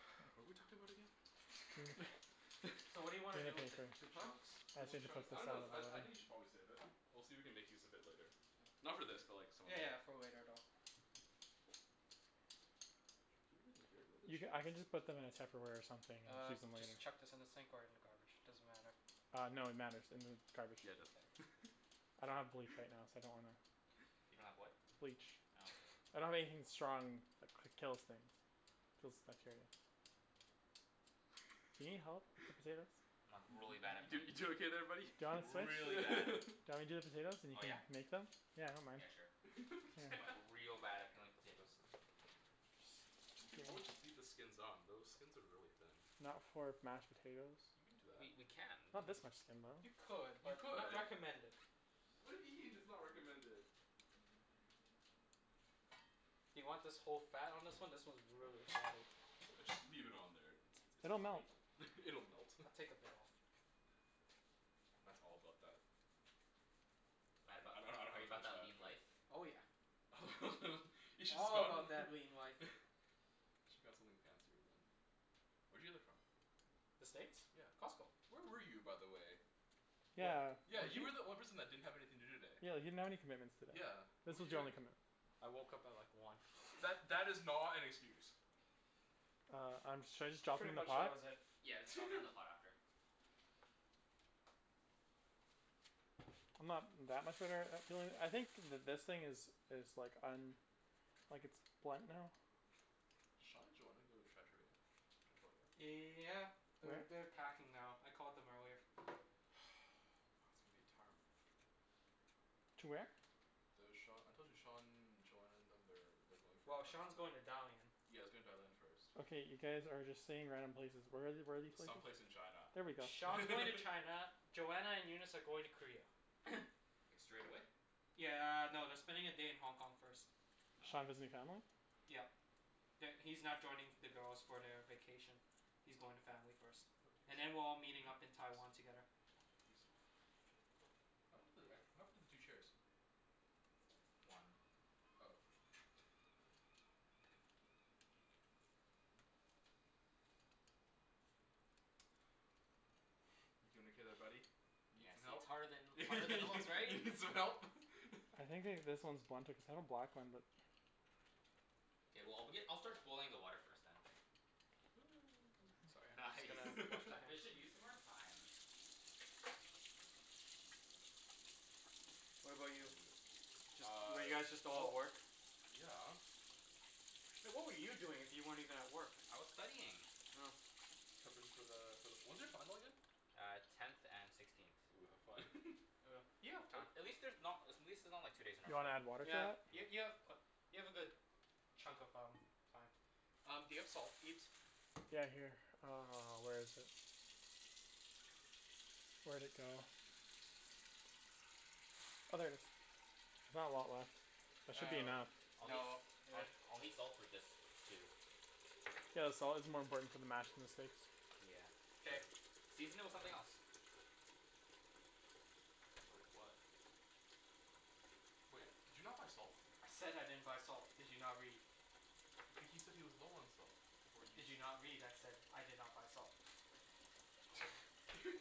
What were we talking about again? So what do Gimme you wanna the do with the baker. two chunks? I just Two need to chunks? put I this don't know out of I your I think you way should probably save it. We'll see if we can make use of it later. Yeah. Not for this, but like some other Yeah day. yeah for later though. where are the You ca- chairs? I can just put them in a tupperware or something and Uh use them later. just chuck this in the sink or in the garbage, doesn't matter. Uh no, it matters. In the garbage. Yeah it does. I don't have bleach right now, so I don't wanna. You don't have what? Bleach Oh. I don't have anything strong that kills things. Kills bacteria. Do you need help with the potatoes? I'm like really bad at You peeling you doing potatoes. okay there buddy? Do you Like wanna switch? really bad. Do you want me to do the potatoes and you Oh can yeah? make them? Yeah I don't mind. Yeah sure. I'm like real bad at peeling potatoes. We could always just leave the skins on. Those skins are really thin. Not for mashed potatoes. You can do that. We we can. Not this much skin though. You could, You but could. not recommended. Why do you mean it's not recommended? Do you want this whole fat on this one? This one's really fatty. Just leave it on there. It's it's It'll melt flavor. It'll melt. I'll take a bit off. Matt's all about that Matt about I don't know that are how to you about finish that that, lean but life? Oh yeah. You should All about spun that lean life. Should got something fancier than Where'd you get that from? The steaks? Yeah. Costco. Where were you, by the way? Yeah Yeah, you were the only person that didn't have anything to do today. Yeah, you didn't have any commitments today. Yeah. What This were was you your only doing? commitment. I woke up at like one. That that is not an excuse. Uh I'm should I just drop them Pretty in the much that pot? was it. Yeah, let's drop it in the pot after. I'm not that much of I think th- this thing is is like um like it's blunt now. Sean and Joanna go to Trattoria? Victoria? Yeah. They're they're packing now. I called them earlier. To where? The Sean, I told you, Sean, Joanna and them they're they're going for. Well Sean's going to Dalian. Yea he's going to Dalian first. Okay, you guys are just saying random places. Where are the- where are these places? Some place in China There we go Sean's going to China, Joanna and Eunice are going to Korea. Like straight away? Yeah no, they're spending a day in Hong Kong first. Sean Oh. visiting family? Yeah. That He's not joining the girls for the vacation. He's going to family first. And then we're all meeting up in Taiwan together. Juicy. What happened to the two chairs? One. Oh. You peelin' okay there buddy? You need Yeah some see it's help? harder than harder than it looks, You right? need some help? I think they this one is blunted cuz that one. K well I'll begin I'll start boiling the water first then. Sorry. Just Nice. gonna wash my hands. Efficient use of our time. What about you? Just Uh. were you guys just all at Well. work? Yeah. Hey what were you doing if you weren't even at work? I was studying. Oh. Preppin' for the for the when's your final again? Uh tenth and sixteenth. Ooh, have fun. Uh. You have time. At least there's not at least it's not like two days in a You row. wanna add water to Yeah that? y- Yeah. you have you have a good chunk of um Time. Um do you have salt Ibs? Yeah here. Uh, where is it? Where'd it go? Oh there it is. There's not a lot left. That should be enough. Uh no Um I'll need salt for this too. Yeah the salt is more important for the mash than the steaks. Yeah, true. K. Season it with something else. With what? Wait, did you not buy salt? I said I didn't buy salt, did you not read? H- he said he was low on salt, before you Did s- you not read? I said I did not buy salt. Season